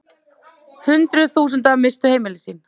Hundruð þúsunda misstu heimili sín.